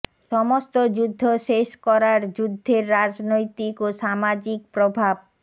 সমস্ত যুদ্ধ শেষ করার যুদ্ধের রাজনৈতিক ও সামাজিক প্রভাব